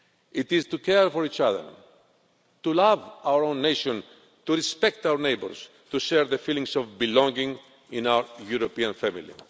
It is to care for each other, to love our own nation, to respect our neighbours, to share the feelings of belonging in our European family.